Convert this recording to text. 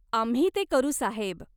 आम्ही ते करू साहेब.